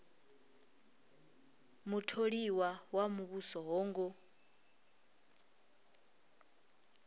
mutholiwa wa muvhuso ho ngo